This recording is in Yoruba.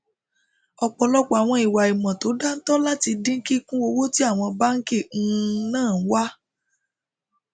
ọpọlọpọ àwọn ìwà àìmọ to dáńtọ là ti dín kíkún owó tí àwọn bánkì um náà wa